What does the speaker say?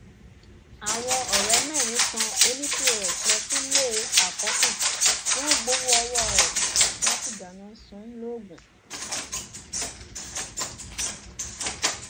àwọn ọrẹ mẹrin tan onípọs lọ sílé àkọkù wọn gbowó ọwọ ẹ wọn sì dáná sun ún logun